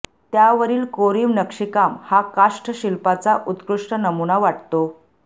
त्यांवरील कोरीव नक्षीकाम हा काष्ठ शिल्पाचा उत्कृष्ट नमुना वाटतो